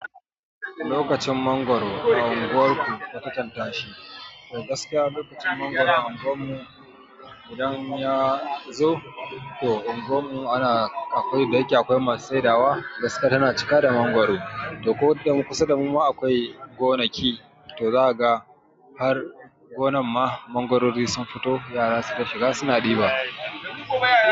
Lokacin mangoro a unguwarku ka kwatanta shi, to gaskiya lokacin mangoro a unguwar mu idan ya zo to a unguwan mu ana akwai da yake akwai masu sai dawa, gaskiya tana cika da mangoro, to dan kusa da mu akwai gonaki to zaga har gonan ma mangorori sun fito yara suna shiga suna ɗiba.